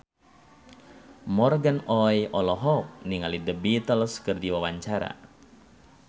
Morgan Oey olohok ningali The Beatles keur diwawancara